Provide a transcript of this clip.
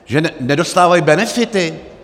Že nedostávají benefity?